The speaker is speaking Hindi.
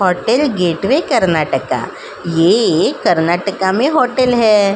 Hotel gateway Karnataka. ये एक कर्नाटका में होटल है।